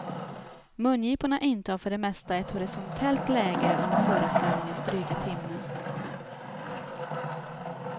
Mungiporna intar för det mesta ett horisontellt läge under föreställningens dryga timme.